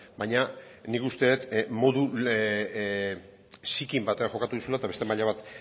baina nik uste dut modu zikin batean jokatu duzula eta beste maila bat